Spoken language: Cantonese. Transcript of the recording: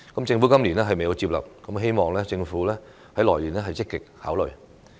政府今年未有接納，希望政府明年會積極考慮。